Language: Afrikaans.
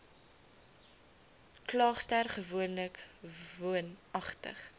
klaagster gewoonlik woonagtig